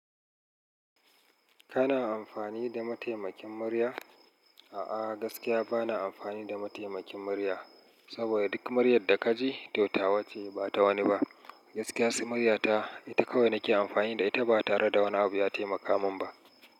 Kana amfani da mataimakin murya? A'a, gaskiya bana amfani da mataimakin murya. Saboda duk muryar da ka ji, to tawa ce, ba ta wani ba. Gaskiya su murya ta, ita kawai nake amfani da ita ba tare da wani abu ya taimaka min ba.